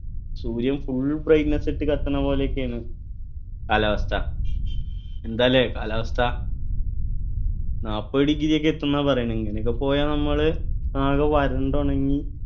സൂര്യൻ full brightness ഇട്ട് കത്തണപോലെയൊക്കെയാണ് കാലാവസ്ഥ എന്താലേ കാലാവസ്ഥ നാപ്പത് degree ഒക്കെ എത്തുന്ന പറയുന്നത് ഇങ്ങനൊക്കെ പോയാൽ നമ്മള് ആകെ വരണ്ട് ഉണങ്ങി